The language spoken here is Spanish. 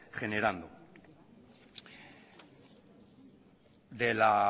generando de la